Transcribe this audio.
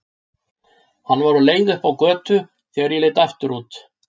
Hann var á leið upp á götu þegar ég leit aftur út.